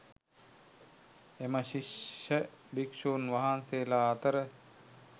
එම ශිෂ්‍ය භික්‍ෂූන් වහන්සේලා අතර